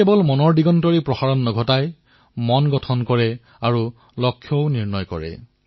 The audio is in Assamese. খেলাসামগ্ৰীয়ে কেৱল মন আনন্দিত কৰাই হয় লক্ষ্যও নিৰ্ধাৰিত কৰে